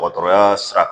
Dɔgɔtɔrɔya sira